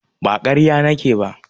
Ba ƙarya nake ba.